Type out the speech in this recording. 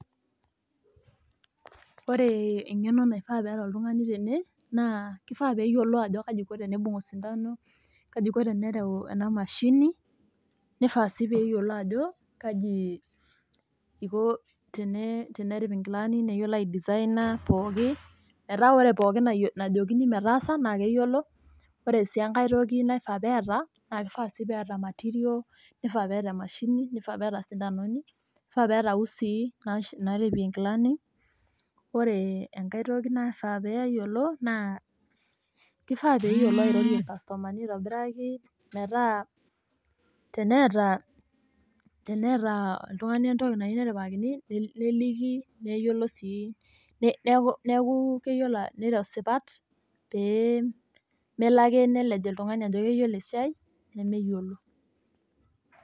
Ore eng'eno naifaa peeta oltung'ani tene naa kifaa peeyiolou ajo kaji eiko teneibung' osindano, kaji iko tenereu ena mashini nifaa sii peyiolou ajo kaji iko tenerip inkilani neyiolo aisaina pookin metaa ore pookin najokini metaasa naa keyiolo. Ore sii enkae toki naifaa peeta naa kifaa neeta material nifaa neeta emashini, nifaa peeta isindanoni, peeta iusii naaripie inkilani. Ore enkae toki naifaa peeyiolo naa kifaa peeyiolo airorie irkastomani aitobiraki metaa teneeta, teneeta oltung'ani entoki nayieu neripakini neliki neyiolo sii neeku keyiolo neiro sipat pee Melo ake nelej oltung'ani ajo keyiolo esiai nemeyiolo.